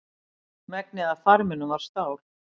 Megnið af farminum var stál.